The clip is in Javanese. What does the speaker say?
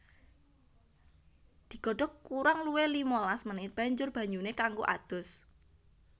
Digodhog kurang luwih limalas menit banjur banyuné kanggo adus